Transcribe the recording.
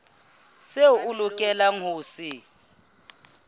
seo a lokelang ho se